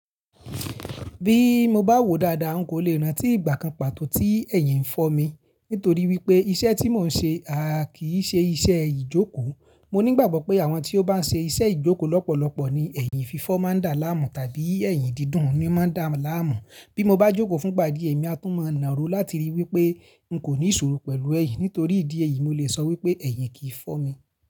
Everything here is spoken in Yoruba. Bí mo bá wòó dáadáa, n kò le rántí ìgbà kan pàtó tí ẹ̀yìn fọ́ mi. Nítorí wípé iṣẹ́ tí mò ń ṣe à kí í ṣe iṣẹ́ ìjókòó. Mo ní ìgbàgbọ́ pé àwọn tí ó bá ń ṣe iṣẹ́ ìjókòó lọ́pọ̀lọpọ̀ ni ẹ̀yìn fífọ́ máa ń dà láàmú tàbí ẹ̀yìn dídùn ni máa ń dà láàmú. Bí mo bá jókòó fún gba di ẹ mi á tún mọ̀ nàró láti ríi wípé n kò ní ìṣòro pẹ̀lú ẹyìn. Nítorí ìdí èyí, mo lè sọ wípé ẹ̀yìn kì í fọ́ mi.